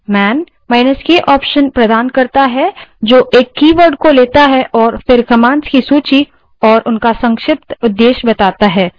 mank option प्रदान करता है जो एक कीवर्ड को लेता है और फिर commands की सूची और उनका संक्षिप्त उद्देश्य बताता है